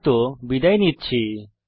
এতে অংশগ্রহণ করার জন্যে ধন্যবাদ